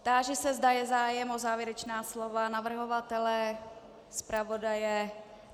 Táži se, zda je zájem o závěrečná slova navrhovatele, zpravodaje?